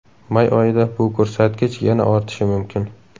May oyida bu ko‘rsatkich yana ortishi mumkin.